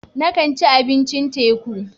Na kan ci abincin teku.